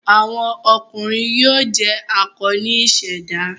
Awọn ọkunrin yoo jẹ akọ ni iseda